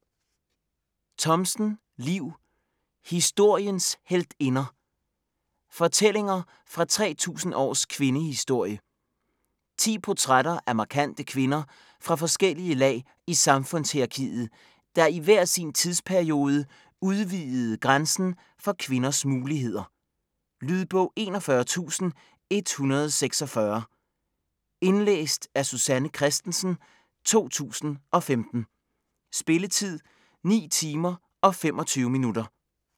Thomsen, Liv: Historiens heltinder: fortællinger fra 3000 års kvindehistorie 10 portrætter af markante kvinder fra forskellige lag i samfundshierarkiet, der i hver sin tidsperiode udvidede grænsen for kvinders muligheder. Lydbog 41146 Indlæst af Susanne Kristensen, 2015. Spilletid: 9 timer, 25 minutter.